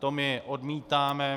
To my odmítáme.